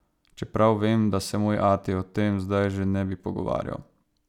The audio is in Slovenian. Čeprav vem, da se moj ati o tem zdaj že ne bi pogovarjal.